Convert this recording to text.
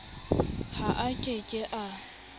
ha a ke ke a